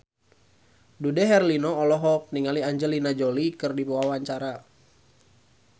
Dude Herlino olohok ningali Angelina Jolie keur diwawancara